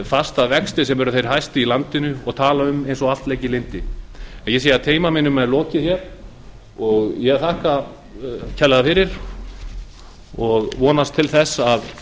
fasta vexti sem eru þeir hæstu í landinu og tala eins og að allt leiki í lyndi ég sé að tíma mínum er lokið ég þakka kærlega fyrir og vonast til þess að